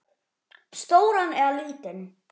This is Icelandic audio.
Stóran eða lítinn?